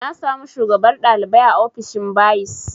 Na samu shugabar ɗalibai a ofishin bayis